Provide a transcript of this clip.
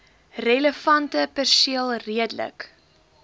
relevante perseel redelik